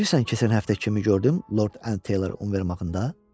Bilirsən keçən həftə kimi gördüm Lord End Taylor Univermağında?